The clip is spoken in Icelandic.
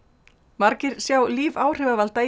margir sjá líf áhrifavalda í